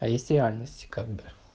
а есть реальность как бы